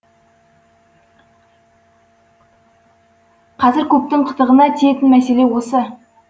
қазір көптің қытығына тиетін мәселе осы